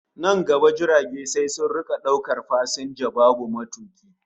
Nan gaba jirage sai sun rika daukar fasinja babu matuki